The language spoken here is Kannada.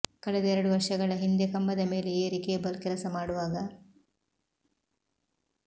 ಕಳೆದ ಎರಡು ವರ್ಷಗಳ ಹಿಂದೆ ಕಂಬದ ಮೇಲೆ ಏರಿ ಕೇಬಲ್ ಕೆಲಸ ಮಾಡುವಾಗ